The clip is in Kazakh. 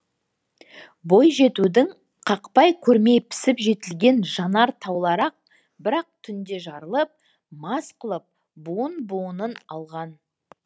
бойжетудің қақпай көрмей пісіп жетілген жанар таулары ақ бір ақ түнде жарылып мас қылып буын буынын алған